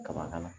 Kaba kana